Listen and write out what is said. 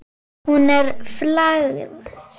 Hún er flagð.